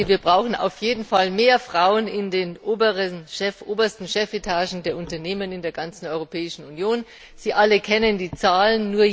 Wir brauchen auf jeden Fall mehr Frauen in den obersten Chefetagen der Unternehmen in der gesamten Europäischen Union. Sie alle kennen die Zahlen.